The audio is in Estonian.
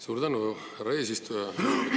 Suur tänu, härra eesistuja!